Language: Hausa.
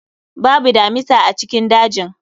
Babu damisa a cikin dajin